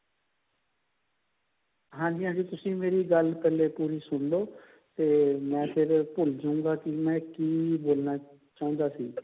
ਹਾਂਜੀ ਹਾਂਜੀ ਤੁਸੀਂ ਮੇਰੀ ਗੱਲ ਪਹਿਲੇ ਪੂਰੀ ਸੁਣਲੋ ਤੇ ਮੈਂ ਫੇਰ ਭੁੱਲ ਜੁਗਾ ਕਿ ਕਿ ਬੋਲਨਾ ਚਾਹੁੰਦਾ ਸੀ